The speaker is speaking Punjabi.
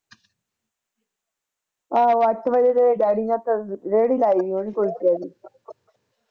ਆਹੋ ਅੱਠ ਵਜੇ ਤੇ daddy ਨੇ ਤੇ ਰੇਹੜੀ ਲਈ ਹੋਣੀ ਕੁਚਲਿਆ ਦੀ